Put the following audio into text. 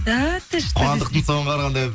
да ты что қуандықтың соған қарағанда